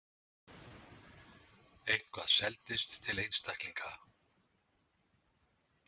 Eitthvað seldist til einstaklinga.